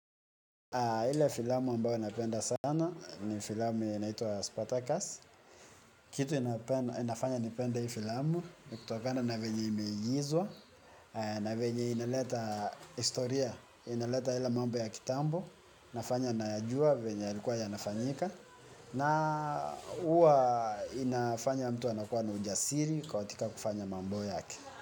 Ile filamu ambayo napenda sana ni filamu yenye inaitwa Spartacus. Kitu inafanya nipende hii filamu, ni kutokana na venye imeigizwa, na venye inaleta historia, inaleta ile mambo ya kitambo, inafanya nayajua, venye yailikuwa yanafanyika, na huwa inafanya mtu anakuwa na ujasiri katika kufanya mambo yake.